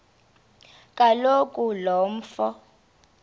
kaloku lo mfo